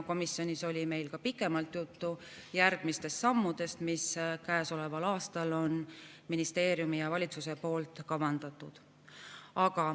Komisjonis oli meil pikemalt juttu järgmistest sammudest, mis käesoleval aastal on ministeeriumil ja valitsusel kavandatud.